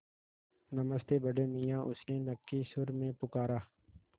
नमस्ते बड़े मियाँ उसने नक्की सुर में पुकारा